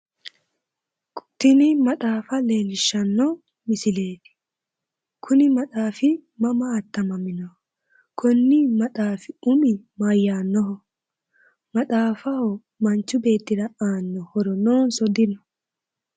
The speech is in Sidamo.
Tini maxaafa leellishshanno misileeti kuni maxaafi mama attamamino? Konni maxaafi umi mayyaannoho? Maxaafaho manchi beettira aanno horo noonsa dino?